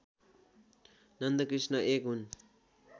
नन्दकृष्ण एक हुन्